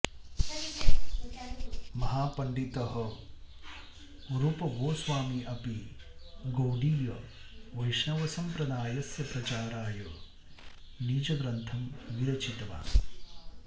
महापण्डितः रूपगोस्वामी अपि गौडीय वैष्णवसम्प्रदायस्य प्रचाराय निजग्रन्थं विरचितवान्